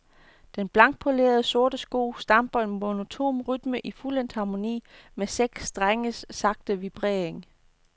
Den blankpolerede sorte sko stamper en monoton rytme i fuldendt harmoni med seks strenges sagte vibrering.